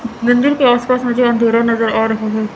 मंदिर के आस पास मुझे अंधेरा नजर आ रहा है।